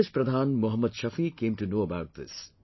The village pradhan Mohammad Shafi came to know about this